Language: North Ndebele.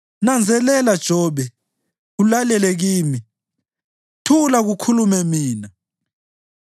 Nanzelela, Jobe, ulalele kimi; thula kukhulume mina.